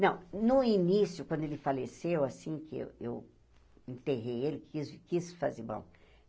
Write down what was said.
Não no início, quando ele faleceu, assim que eu eu enterrei ele, quis quis fazer bom.